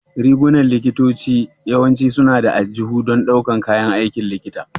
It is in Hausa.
Rigunan likitoci yawanci suna da aljihu don ɗaukar kayan aikin likita.